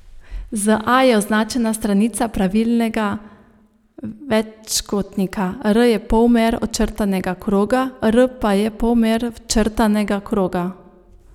Z a je označena stranica pravilnega večkotnika, R je polmer očrtanega kroga, r pa je polmer včrtanega kroga.